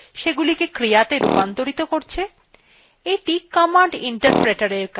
এ0ইটি command interpreterএর কাজ এটিকে shell বলা হয়